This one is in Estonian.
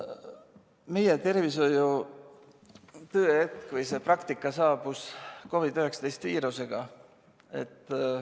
Meie tervishoiu tõehetk või see praktika saabus COVID‑19 viirusega.